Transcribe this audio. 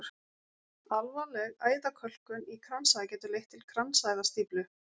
alvarleg æðakölkun í kransæð getur leitt til kransæðastíflu